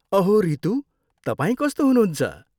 अहो रितू, तपाईँ कस्तो हुनुहुन्छ?